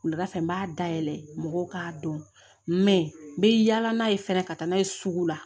Wulada fɛ n b'a dayɛlɛ mɔgɔw k'a dɔn n bɛ yaala n'a ye fɛnɛ ka taa n'a ye sugu la